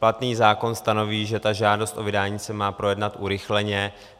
Platný zákon stanoví, že ta žádost o vydání se má projednat urychleně.